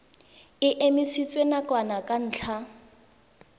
e emisitswe nakwana ka ntlha